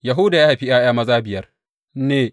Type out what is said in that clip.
Yahuda ya haifi ’ya’ya maza biyar ne.